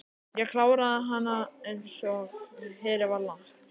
Ég kláraði hana einsog fyrir var lagt.